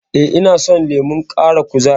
E, ina son lemon ƙara kuzari.